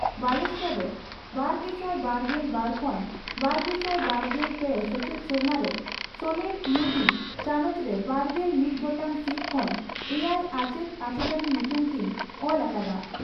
ᱵᱟᱞᱮᱥᱚᱨ ᱨᱮ ᱵᱟᱨᱜᱮᱥᱟᱭ ᱵᱟᱨᱜᱮᱞ ᱵᱟᱨ ᱠᱷᱚᱱ ᱵᱟᱨᱜᱮᱥᱟᱭ ᱵᱟᱨᱜᱮᱞ ᱯᱮ ᱥᱮᱪᱮᱫ ᱥᱮᱨᱢᱟ ᱨᱮ ᱥᱚᱱᱮᱨ ᱤᱭᱩ ᱡᱤ ) ᱪᱟᱱᱚᱪ ᱨᱮ ᱵᱟᱨᱜᱮᱞ ᱢᱤᱛ ᱜᱚᱴᱟᱝ ᱥᱤᱴ ᱠᱷᱚᱱ ᱮᱭᱟᱭ ᱟᱪᱮᱛ ᱟᱪᱮᱛᱟᱱᱤ ᱧᱩᱛᱩᱢ ᱠᱤᱱ ᱚᱞ ᱟᱠᱟᱫᱼᱟ ᱾